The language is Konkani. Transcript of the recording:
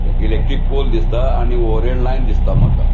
इलेक्ट्रिक पोल दिसता आणि ओरिएंट लाइन दिसता मका.